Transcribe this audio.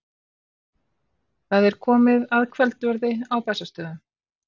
Það er komið að kvöldverði á Bessastöðum.